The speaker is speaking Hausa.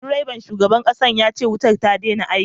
Direban shugaban kasar yace wutar ta daina aiki